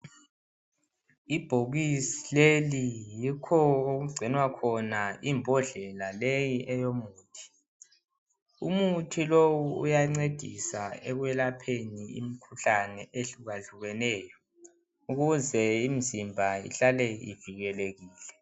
Ibhokisi leli yikho okugcinwa khona imbodlela leyi eyomuthi umuthi lowu uyancedisa ekwelapheni imkhuhlani ehlukahlukeneyo ukuze imzimba ihlale ivikelekile.